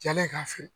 Jalen k'a fɛ